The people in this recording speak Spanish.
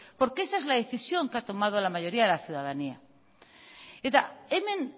porque esa es la decisión que ha tomado la mayoría de la ciudadanía eta hemen